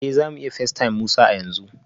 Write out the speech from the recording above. Eh za mu iya facetime Musa a yanzu